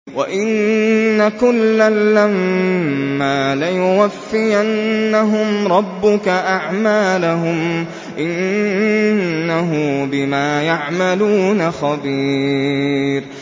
وَإِنَّ كُلًّا لَّمَّا لَيُوَفِّيَنَّهُمْ رَبُّكَ أَعْمَالَهُمْ ۚ إِنَّهُ بِمَا يَعْمَلُونَ خَبِيرٌ